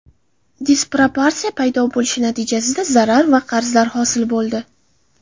Disproporsiya paydo bo‘lishi natijasida zarar va qarzlar hosil bo‘ldi.